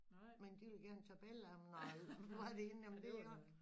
Men de ville gerne tage billeder af mig når jeg var derinde jamen det i orden